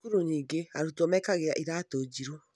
Cukuru nyingĩ arutwo mekagĩra iratũ njiru